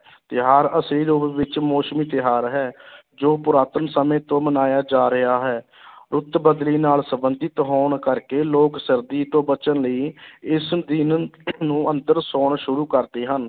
ਤਿਉਹਾਰ ਅਸਲੀ ਰੂਪ ਵਿੱਚ ਮੌਸਮੀ ਤਿਉਹਾਰ ਹੈ ਜੋ ਪੁਰਾਤਨ ਸਮੇਂ ਤੋਂ ਮਨਾਇਆ ਜਾ ਰਿਹਾ ਹੈ ਰੁੱਤ ਬਦਲੀ ਨਾਲ ਸੰਬੰਧਿਤ ਹੋਣ ਕਰਕੇ ਲੋਕ ਸਰਦੀ ਤੋਂ ਬਚਣ ਲਈ ਇਸ ਦਿਨ ਨੂੰ ਅੰਦਰ ਸੌਣਾ ਸ਼ੁਰੂ ਕਰਦੇ ਹਨ।